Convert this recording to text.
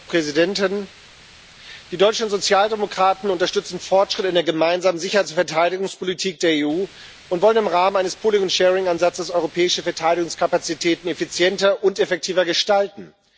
Frau Präsidentin! Die deutschen Sozialdemokraten unterstützen Fortschritte in der Gemeinsamen Sicherheits und Verteidigungspolitik der EU und wollen im Rahmen eines Ansatzes europäische Verteidigungskapazitäten effizienter und effektiver gestalten.